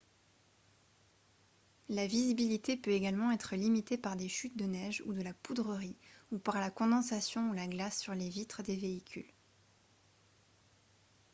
la visibilité peut également être limitée par des chutes de neige ou de la poudrerie ou par la condensation ou la glace sur les vitres des véhicules